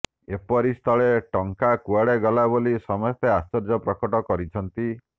ଏପରି ସ୍ଥଳେ ଟଙ୍କା କୁଆଡେ ଗଲା ବୋଲି ସମସ୍ତେ ଆଶ୍ଚର୍ଯ୍ୟ ପ୍ରକଟ କରିଛନ୍ତି